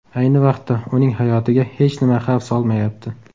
Ayni vaqtda uning hayotiga hech nima xavf solmayapti.